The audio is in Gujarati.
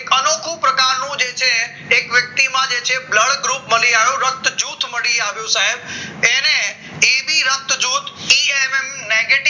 આનો ખૂબ પ્રકારનો જે છે એક વ્યક્તિમાં છે blood group મળી આવ્યું રક્ત જૂથ મળી આવ્યું સાહેબ એને એબી રક્ત જૂથ ડી એમ એમ નેગેટિવ